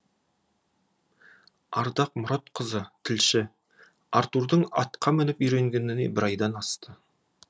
ардақ мұратқызы тілші артурдың атқа мініп үйренгеніне бір айдан асты